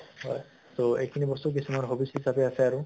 হয় তʼ এইখিনি বস্তু কিছুমানৰ hobbies হিচাপে আছে আৰু